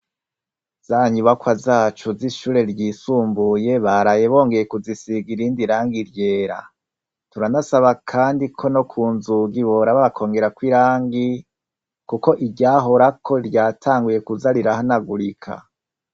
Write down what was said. Zanyu bakwa zacu z'ishure ryisumbuye baraye bongeye kuzisiga irindi rangi ryera turanasaba, kandi ko no ku nzugi borabakongerako irangi, kuko iryahorako ryatanguye kuza rirahanagurika.